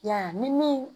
Ya ni min